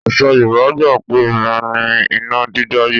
Àṣà Yorùbá gbà pé obìnrin ni iná dídá yẹ́.